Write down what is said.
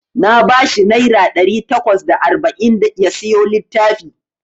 Na bashi naira ɗari takwas da arba'in ya siyo littafi.